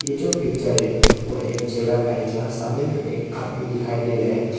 ये जो पिक्चर है वो एक जगह का है जहां सामने में एक आदमी दिखाई दे रहा है।